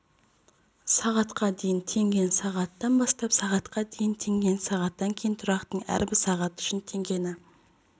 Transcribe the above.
сағатқа дейін теңгені сағаттан бастап сағатқа дейін теңгені сағаттан кейін тұрақтың әрбір сағаты үшін теңгені